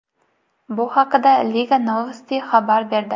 Bu haqda Liga Novosti xabar berdi .